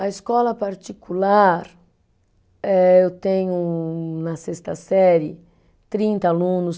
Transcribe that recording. A escola particular, eh eu tenho na sexta série trinta alunos